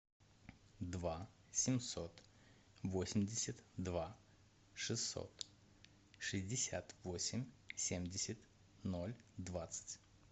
два семьсот восемьдесят два шестьсот шестьдесят восемь семьдесят ноль двадцать